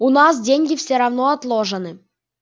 у нас деньги все равно отложены